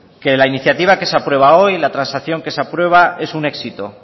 que la iniciativa que se aprueba hoy la transacción que se aprueba es un éxito